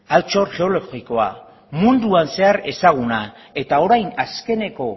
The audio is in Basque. altxor geologikoa munduan zehar ezaguna eta orain azkeneko